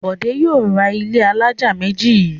Bọ̀dé yóò ra ilé alájà méjì yìí.